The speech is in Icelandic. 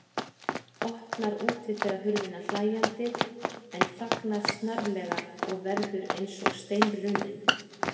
Opnar útidyrahurðina hlæjandi en þagnar snarlega og verður eins og steinrunninn.